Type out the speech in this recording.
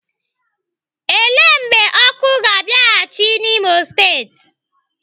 Ele mgbe ọkụ ga-abịaghịchi n'Imo steeti?